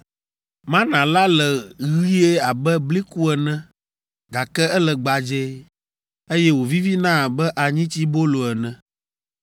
Mana la le ɣie abe bliku ene gake ele gbadzɛe, eye wòvivina abe anyitsibolo ene.